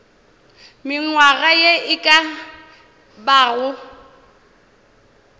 mengwaga ye e ka bago